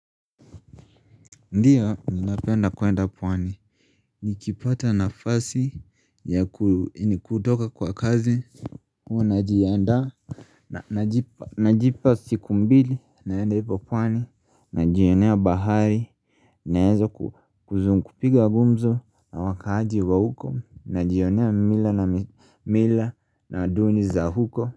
Ndio napenda kuenda pwani, nikipata nafasi ya kutoka kwa kazi Huao najianda Najipa siku mbili, naenda ivo pwani, najionea bahari Naeza kuzum kupiga gumzo na wakaaji wa huko, najionea mila na mila na duni za huko.